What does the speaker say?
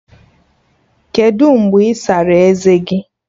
Kedụ mgbe ị sara eze gi?